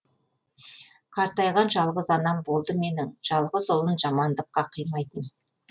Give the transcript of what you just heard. қартайған жалғыз анам болды менің жалғыз ұлын жамандыққа қимайтын